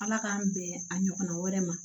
Ala k'an bɛn a ɲɔgɔnna wɛrɛ ma